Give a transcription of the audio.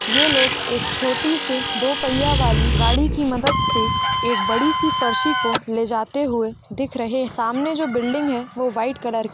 ये लोग एक छोटी से दो पहिया वाली गाड़ी की मदत से एक बड़ी सी फरसी को ले जाते हुये दिख रहे सामने जो बिल्डिंग है वो वाईट कलर की --